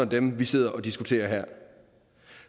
dem vi sidder og diskuterer her